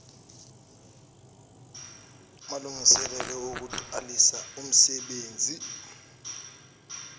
malungiselelo okuqalisa umsenbenzi